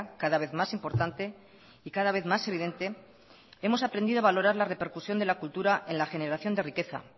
cada vez más importante y cada vez más evidente hemos aprendido a valorar la repercusión de la cultura en la generación de riqueza